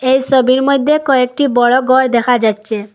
এই সবির মইধ্যে কয়েকটি বড়ো গর দেখা যাচ্ছে।